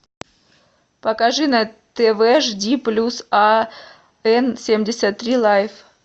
покажи на тв жди плюс а эн семьдесят три лайф